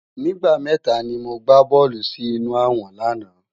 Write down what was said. Nigbá mètá ni mó gbá bòlú si inú àwòn làná